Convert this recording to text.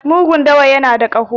mugun dawa ya da kaho